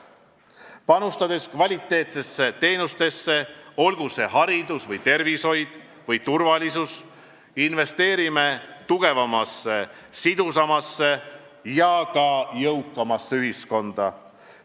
Panustades kvaliteetsetesse teenustesse – olgu see haridus või tervishoid või turvalisus –, investeerime tugevamasse, sidusamasse ja ka jõukamasse ühiskonda.